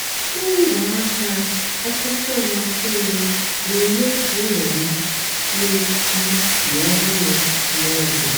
ngwaáahịa kachásị́ àmasị́ m na-èmé ka ụ́lọ́ m na-èsì ísì ọ́hụrụ́ mgbe ọ bùlà.